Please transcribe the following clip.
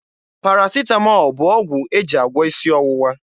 Parasịtamọọl bụ ọgwụ e ji agwọ isi ọwụwa.